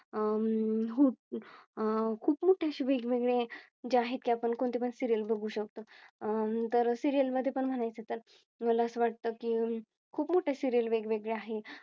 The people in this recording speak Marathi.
अह अं हो आह खूप वेगवेगळे जे आहे ते आपण कोणते पण Serial बघू शकतो अह तर Serial मध्ये पण म्हणायचे तर मला असं वाटतं की खूप मोठे Serial वेगवेगळे आहे.